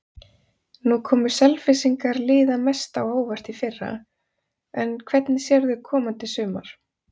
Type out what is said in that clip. Nú komu Selfyssingar liða mest á óvart í fyrra, en hvernig sérðu komandi sumar?